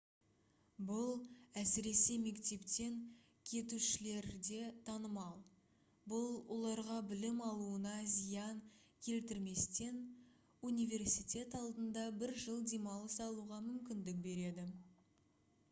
бұл әсіресе мектептен кетушілерде танымал бұл оларға білім алуына зиян келтірместен университет алдында бір жыл демалыс алуға мүмкіндік береді